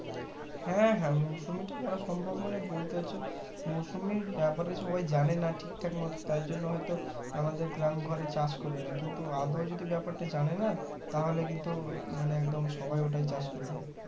হ্যাঁ হ্যাঁ মুসম্বি তা করা সম্ভব মানে বলতে চাইছে মুসম্বির ব্যাপারে সবাই জানে না ঠিকঠাক মতো তাই জন্য হয়তো আমাদের গ্রামে ঘরে চাষ করে না কিন্তু আদও যদি বাপেরটা জানে না তাহলে কিন্তু মানে একদম সবাই ওটাই চাষ করবে